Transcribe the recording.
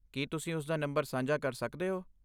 ਕੀ ਤੁਸੀਂ ਉਸਦਾ ਨੰਬਰ ਸਾਂਝਾ ਕਰ ਸਕਦੇ ਹੋ?